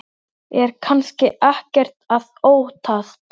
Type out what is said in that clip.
Er kannski ekkert að óttast?